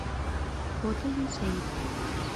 фото юсэйв